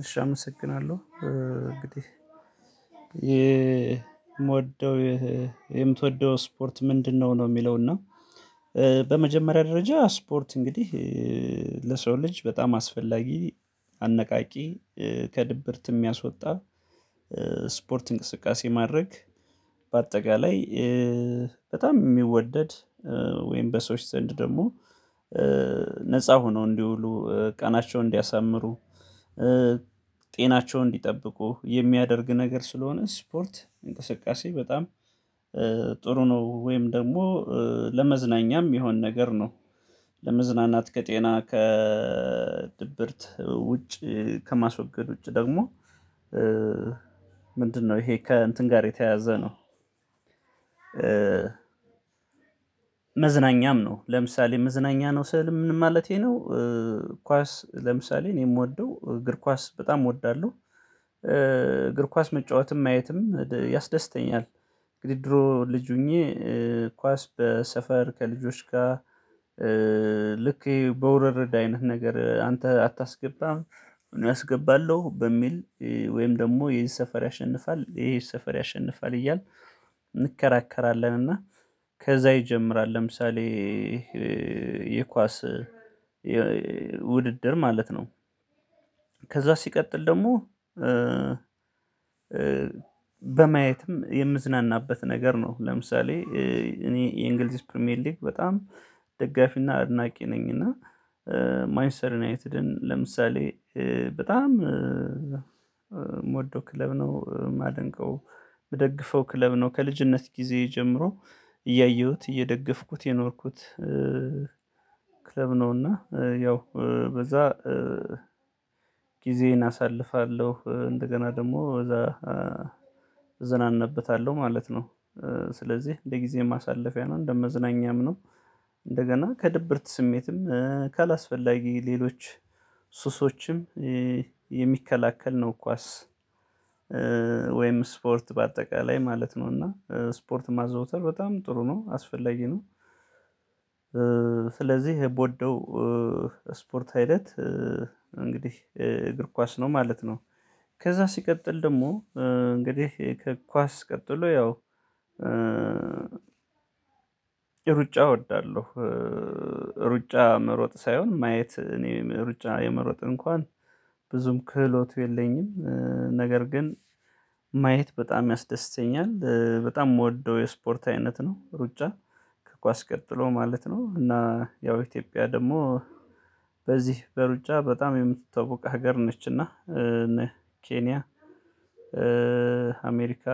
እሺ አመሰግናለሁ እንግዲህ የምወደው የምትወደው ስፖርት ምንድነው? ነው የሚለው እና በመጀመሪያ ደረጃ ስፖርት እንግዲህ ለሰው ልጅ በጣም አስፈላጊ አነቃቂ ከድብርት የሚያስወጣ ስፖርት እንቅስቃሴ ማድረግ በአጠቃላይ በጣም የሚወደድ ወይም በሰዎች ዘንድ ደግሞ ነፃ ሆነው እንዲውሉ ቀናቸውን እንዲያሳምሩ ጤናቸውን እንዲጠብቁ የሚያደርግ ነገር ስለሆነ ስፖርት እንቅስቃሴ በጣም ጥሩ ነው። ወይም ደግሞ ለመዝናኛም የሚሆን ነገር ነው። ለመዝናናት ከጤና ከድብርት ውጭ ከማስወገድ ውጭ ደግሞ። ምንድነው ይሄ ከእንትን ጋር የተያያዘ ነው? መዝናኛም ነው ለምሳሌ መዝናኛ ነው ስል ምን ማለቴ ነው? ኳስ ለምሳሌ እኔ የምወደው እግር ኳስ በጣም እወዳለሁ። እግር ኳስ መጫወትም ማየትም ያስደስተኛል። እንግዲህ ድሮ ልጅ ሆኜ ኳስ በሰፈር ከልጆች ጋር ልክ በውርርድ አይነት ነገር አንተ አታስገባም እኔ አስገባለሁ በሚል ወይም ደግሞ ይሄ ሰፈር ያሸንፋል ይሄ ሰፈር ያሸንፋል እያልን እንከራከራለን እና ከዛ ይጀምራል ለምሳሌ የኳስ ውድድር ማለት ነው። ከዛ ሲቀጥል ደግሞ በማየትም የምዝናናበት ነገር ነው። ለምሳሌ እኔ የእንግሊዝ ፕሪሚየር ሊግ በጣም ደጋፊና አድናቂ ነኝ። እና ማንችስተር ዩናይትድን ለምሳሌ በጣም የምወደው ክለብ ነው የማደንቀው የምደግፈው ክለብ ነው። ከልጅነት ጊዜ ጀምሮ እያየሁት እየደገፍኩት የኖርኩት ክለብ ነውና ያው በዛ ጊዜየን አሳልፋለሁ እንደገና ደግሞ እዛ እዝናናበታለሁ ማለት ነው። ስለዚህ እንደ ጊዜ ማሳለፊያ ነው እንደ መዝናኛም ነው። እንደገና ከድብርት ስሜትም ካላስፈላጊ ሌሎች ሱሶችም የሚከላከል ነው። ኳስ ወይም ስፖርት በአጠቃላይ ማለት ነው እና ስፖርት ማዘውተር በጣም ጥሩ ነው አስፈለጊ ነው። ስለዚህ የምወደው ስፖርት አይነት እንግዲህ እግር ኳስ ነው ማለት ነው። ከዛ ሲቀጥል ደግሞ እንግዲህ ከእግር ኳስ ቀጥሎ ያው ሩጫ እወዳለሁ። ሩጫ መሮጥ ሳይሆን ማየት እኔ ሩጫ የመሮጥ እንኳን ብዙም ክህሎቱ የለኝም። ነገር ግን ማየት በጣም ያስደስተኛል በጣም የምወደው የስፖርት አይነት ነው ሩጫ ከኳስ ቀጥሎ ማለት ነው። እና ያው ኢትዮጵያ ደግሞ በዚህ በሩጫ በጣም የምትታወቀ ሀገር ነች። እና ኬንያ አሜሪካ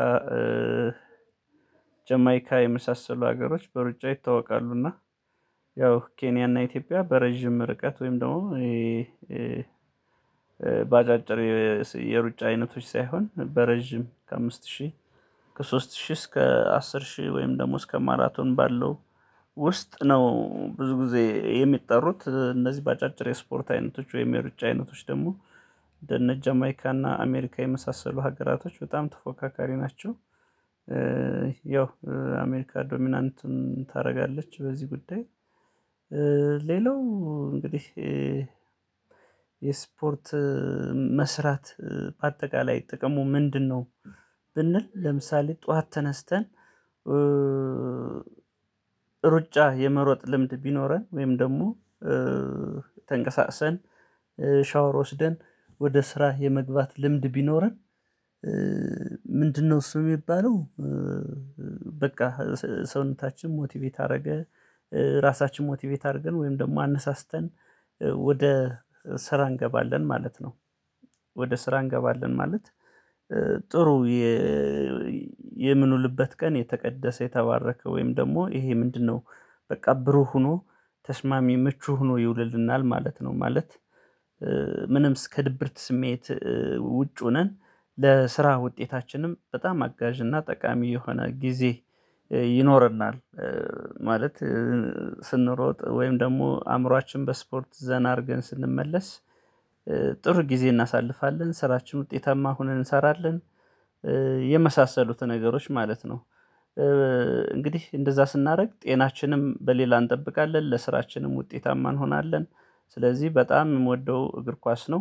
ጀማይካ የመሳሰሉ ሀገሮች በሩጫ ይታወቃሉ። እና ያው ኬንያ እና ኢትዮጵያ በረጅም ርቀት ወይም ደግሞ በአጫጭር የሩጫ አይነቶች ሳይሆን በረዥም ከአምስት ሺህ ከሶስት ሺህ እስከ አስር ሺህ ወይም ደሞ እስከ ማራቶን ባለው ውስጥ ነው ብዙ ጊዜ የሚጠሩት እነዚህ በአጫጭር የስፖርት አይነቶች ወይም የሩጫ አይነቶች ደግሞ እነጃማይካና አሜሪካ የመሳሰሉ ሀገራቶች በጣም ተፎካካሪ ናቸው። ያው አሜሪካ ዶሚናንት ታደርጋለች በዚህ ጉዳይ። ሌላው እንግዲህ የስፖርት መስራት በአጠቃላይ ጥቅሙ ምንድነው? ብንል ለምሳሌ ጠዋት ተነስተን ሩጫ የመሮጥ ልምድ ቢኖረን ወይም ደግሞ ተንቀሳቅሰን ሻወር ወስደን ወደ ስራ የመግባት ልምድ ቢኖረን። ምንድነው እሱ የሚባለው? በቃ ሰውነታችን ሞቲቬት አደረገ ራሳችን ሞቲቬት አድርገን ወይም ደግሞ አነሳስተን ወደ ስራ እንገባለን ማለት ነው። ወደ ስራ እንገባለን ማለት ጥሩ የምንውልበት ቀን የተቀደሰ የተባረከ ወይም ደግሞ ይሄ ምንድነው? በቃ ብሩህ ሆኖ ተስማሚ ምቹ ሆኖ ይውልልናል ማለት ነው። ማለት ምንም ከ ድብርት ስሜት ውጩ ሆነን ለስራ ውጤታችንም በጣም አጋዥና ጠቃሚ የሆነ ጊዜ ይኖረናል። ማለት ስንሮጥ ወይም ደግሞ አእምሮአችን በስፖርት ዘና አድርገን ስንመለስ ጥሩ ጊዜ እናሳልፋለን ስራችን ውጤታማ ሆነን እንሰራለን። የመሳሰሉት ነገሮች ማለት ነው። እንግዲህ እንደዛ ስናደርግ ጤናችንም በሌላ እንጠብቃለን ለስራችንም ውጤታማ እንሆናለን። ስለዚህ በጣም የምወደው እግር ኳስ ነው